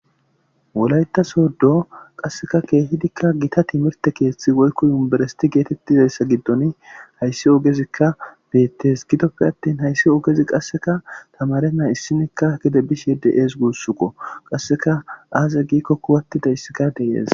Wolayta soddo qasseka keehidikka gita timirte keeththi woykko yumberesiti geetettizayssa giddon hayssi ogezikka deettes gidoppe attin hayssi ogezi qasseka tamare naa issinikka gede bishe de'ees guussuko qasseka aaze gikkokuwattida issika deeyees.